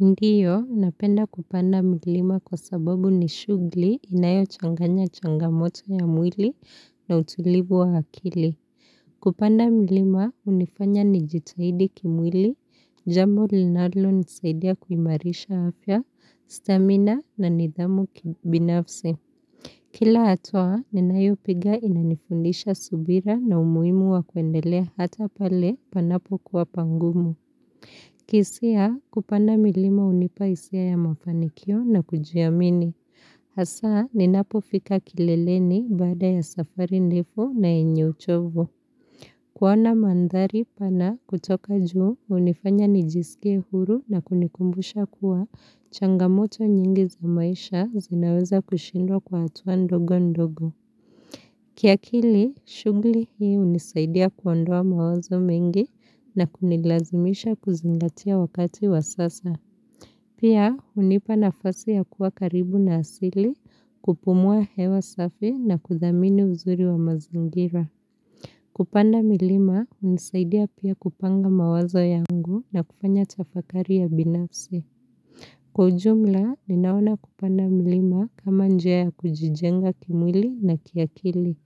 Ndio, napenda kupanda milima kwa sababu ni shugli inayo changanya changamoto ya mwili na utulivu wa akili. Kupanda milima, hunifanya ni jitahidi kimwili, jambo linalo nisaidia kuimarisha afya, stamina na nidhamu kibinafs. Kila hatua, ninayo piga inanifundisha subira na umuhimu wa kuendelea hata pale panapo kuwa pangumu. Hisia kupanda milima hunipa hisia ya mafanikio na kujiamini. Hasaa ninapo fika kileleni baada ya safari ndefu na yenye uchovu. Kuona mandhari pana kutoka juu hunifanya nijisikie huru na kunikumbusha kuwa changamoto nyingi za maisha zinaweza kushindwa kwa hatua ndogo ndogo. Kiakili, shugli hii hunisaidia kuondoa mawazo mengi na kunilazimisha kuzingatia wakati wa sasa. Pia, hunipa nafasi ya kuwa karibu na asili kupumua hewa safi na kudhamini uzuri wa mazingira. Kupanda milima, hunisaidia pia kupanga mawazo yangu na kufanya tafakari ya binafsi. Kwa ujumla, ninaona kupanda milima kama njia ya kujijenga kimwili na kiakili,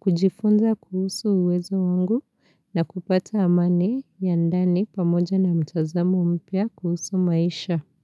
kujifunza kuhusu uwezo wangu na kupata amani ya ndani pamoja na mtazamo mpya kuhusu maisha.